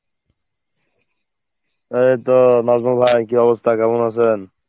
এই তো নাজমুল ভাই, কী অবস্থা, কেমন আছেন?